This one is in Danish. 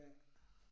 Ja